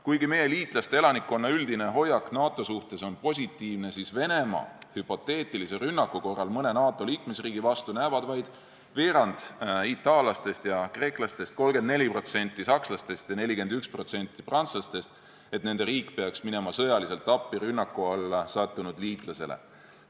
Kuigi meie liitlaste elanikkonna üldine hoiak NATO suhtes on positiivne, siis Venemaa rünnaku korral mõne NATO liikmesriigi vastu näevad vaid veerand itaallastest ja kreeklastest, 34% sakslastest ja 41% prantslastest, et nende riik peaks minema rünnaku alla sattunud liitlasele sõjaliselt appi.